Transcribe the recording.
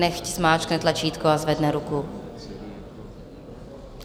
Nechť zmáčkne tlačítko a zvedne ruku.